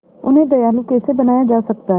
उन्हें दयालु कैसे बनाया जा सकता है